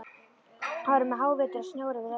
Það var um hávetur og snjór yfir öllu.